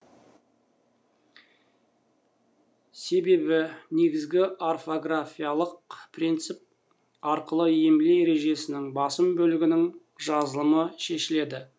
себебі негізгі орфографиялық принцип арқылы емле ережесінің басым бөлігінің жазылымы шешіледі